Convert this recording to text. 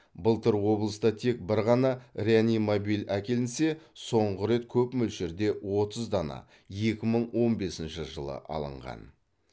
былтыр облыста тек бір ғана реанимобиль әкелінсе соңғы рет көп мөлшерде отыз дана екі мың он бесінші жылы алынған